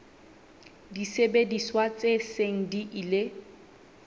disebediswa tse seng di ile